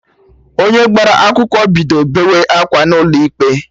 Onye gbara akwụkwọ bido beewe akwa n'ụlọ ikpe